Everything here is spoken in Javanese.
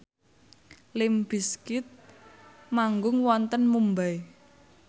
limp bizkit manggung wonten Mumbai